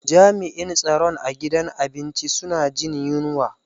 Jami'in tsaron a gidan abinci suna jin yunwa.